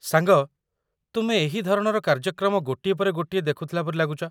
ସାଙ୍ଗ, ତୁମେ ଏହି ଧରଣର କାର୍ଯ୍ୟକ୍ରମ ଗୋଟିଏ ପରେ ଗୋଟିଏ ଦେଖୁଥିଲା ପରି ଲାଗୁଚ।